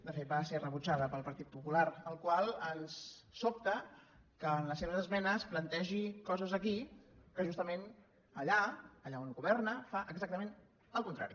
de fet va ser rebutjada pel partit popular el qual ens sobta que en les seves esmenes plantegi coses aquí que justament allà allà on governa fa exactament el contrari